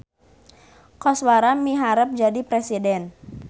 Koswara miharep jadi presiden